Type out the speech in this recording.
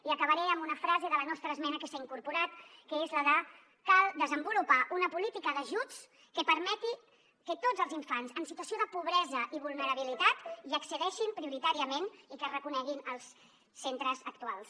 i acabaré amb una frase de la nostra esmena que s’hi ha incorporat que és la de cal desenvolupar una política d’ajuts que permeti que tots els infants en situació de pobresa i vulnerabilitat hi accedeixin prioritàriament i que es reconeguin els centres actuals